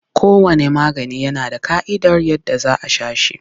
Kowanne magani yana da ƙa'idar yadda za a sha shi.